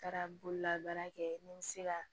N taara bololabaara kɛ ni n bɛ se ka